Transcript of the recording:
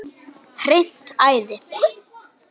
Hreint æði!